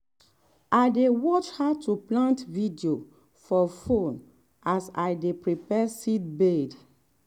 i dey watch how to plant video for phone as i dey prepare seedbed.